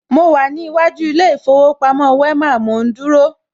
Mo wà ní iwájú ilé ìfowópamọ́ Wema, mò ń dúró